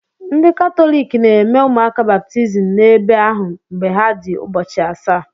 Ndị Katọlik na-eme ụmụaka baptizim n'ebe ahụ mgbe ha dị ụbọchị asaa.